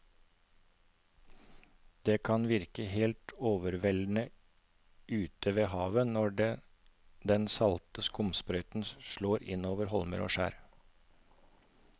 Det kan virke helt overveldende ute ved havet når den salte skumsprøyten slår innover holmer og skjær.